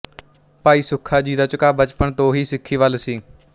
ਭਾਈ ਸੁੱਖਾ ਸਿੰਘ ਦਾ ਝੁਕਾਅ ਬਚਪਨ ਤੋਂ ਹੀ ਸਿੱਖੀ ਵੱਲ ਸੀ